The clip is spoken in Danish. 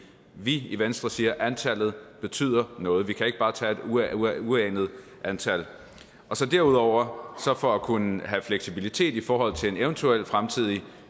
vi i venstre siger at antallet betyder noget vi kan ikke bare tage et uanet antal derudover har vi for at kunne have fleksibilitet i forhold til eventuelle fremtidige